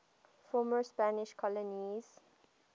former spanish colonies